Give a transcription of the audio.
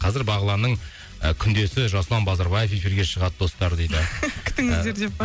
қазір бағланның ы күндесі жасұлан базарбаев эфирге шығады достар дейді күтіңіздер деп па